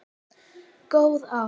Góð ár.